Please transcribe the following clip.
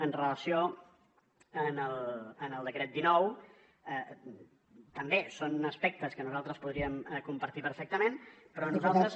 amb relació al decret dinou també són aspectes que nosaltres podríem compartir perfectament però nosaltres